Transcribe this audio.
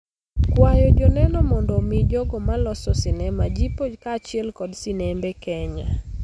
kwayo joneno mondo omi jogo ma loso sinema jipo kaachiel kod sinembe Kenya.